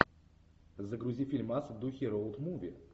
загрузи фильмас в духе роуд муви